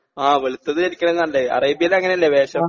ആ വെളുത്തത് ധരിക്ക്ണേണ് നല്ലത് അറേബ്യയിലങ്ങനെയല്ലെ വേഷം.